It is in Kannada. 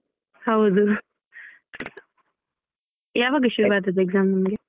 ಹೌದು ಯಾವಾಗ ಶುರು ಆದದ್ದು exam ನಿಮ್ಗೆ.